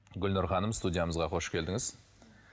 гүлнұр ханым студиямызға қош келдіңіз